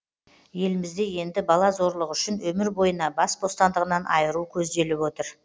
елімізде енді бала зорлығы үшін өмір бойына бас бостандығынан айыру көзделіп отыр